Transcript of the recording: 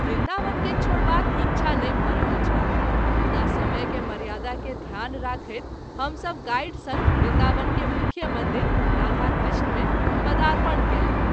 वृन्दावन के छोड़बाक इच्छा नहिं भ’ रहल छल मुदा समय के मर्यादा के ध्यान रखैत हम सभ गाइड संग वृन्दावन के मुख्य मंदिर (राधा-कृष्ण) मे पदारपण कएलहुँ।